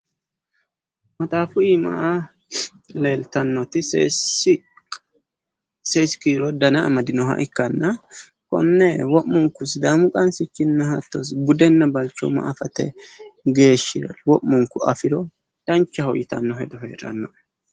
Maxaafu iima leeltannoti seesi kiiro dana amdinoha ikkanna konne wo'munku sidaamu qansichinna hatto budenna balchooma afate geeshshira wo'munku afiro danchate yitanno hedo heedhannoe.